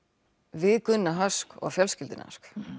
við Gunna og fjölskylduna